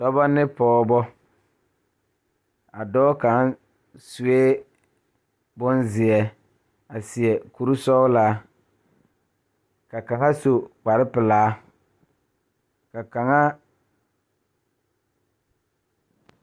Dɔɔba ne pɔgeba la kaa dɔɔ kaŋa a are a su kpare pelaa kaa Yiri a die dankyini are kaa kolbaare a dɔgle tabol zu.